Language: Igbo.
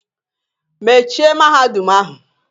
Mechie Mahadum ahụ!